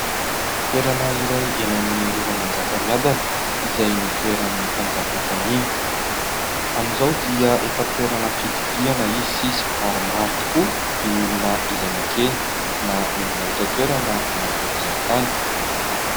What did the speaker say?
Toerana iray eny amin'ny rovan'i Manjakamiadana izay nitoeran'ny mpanjaka fahiny. Amin'izao dia efa toerana fitsidihana izy sisa, ary maro tokoa ny olona izay makeny, na ny avy eto an-toerana na ireo mpizahatany.